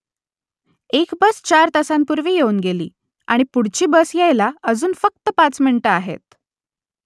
एक बस चार तासांपूर्वी येऊन गेली आणि पुढची बस यायला अजून फक्त पाच मिनिटे आहेत